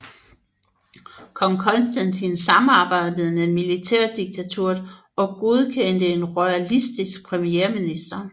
Kong Konstantin samarbejdede med militærdiktaturet og godkendte en royalistisk premierminister